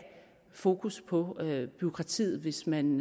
fokus på bureaukratiet hvis man